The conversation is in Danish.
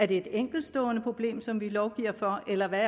det er et enkeltstående problem som vi lovgiver for eller hvad